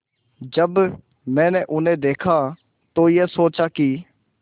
जब मैंने उन्हें देखा तो ये सोचा कि